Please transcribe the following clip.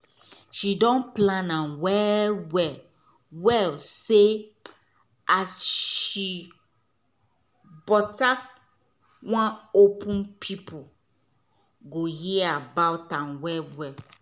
she don plan am well well well say as she wan open pipo go hear about am well well